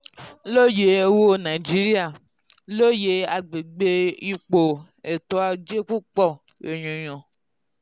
lóye owó nàìjíríà: lóye agbègbè ipò ètò ajé púpọ̀ ènìyàn.